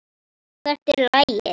Hvert er lagið?